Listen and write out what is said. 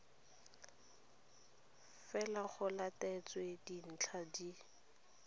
fela go latetswe dintlha tse